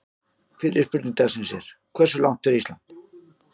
Fyrri spurning dagsins er: Hversu langt fer Ísland?